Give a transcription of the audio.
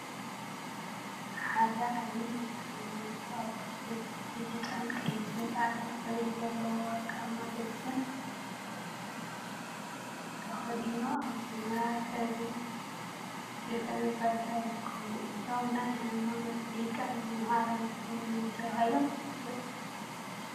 ሓደ ዓብይ ናይ ሃይማት አቦ ብብጫ፣ ቀይሕን ፃዕዳ ሕብሪ ዘለዎ ወርቃማ ልብሲን ቆቢዕን ተከዲኖም አብ ሰማያዊ ሕብሪ ድሕረ ባይታ ይርከቡ፡፡ እዞም ናይ ሃይማኖት ሊቅን መምህርን ዝኮኑ መን ተባሂሎም ይፍለጡ?